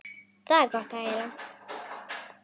Það er gott að heyra.